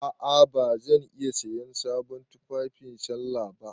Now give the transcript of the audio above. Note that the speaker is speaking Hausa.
A'a ba zan iya siyan sabon tufafi sallah ba.